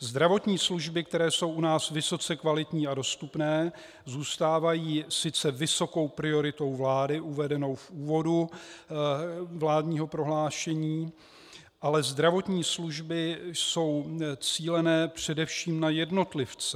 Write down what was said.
Zdravotní služby, které jsou u nás vysoce kvalitní a dostupné, zůstávají sice vysokou prioritou vlády uvedenou v úvodu vládního prohlášení, ale zdravotní služby jsou cíleny především na jednotlivce.